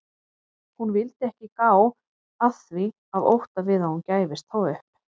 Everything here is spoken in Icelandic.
Hún vildi ekki gá að því af ótta við að hún gæfist þá upp.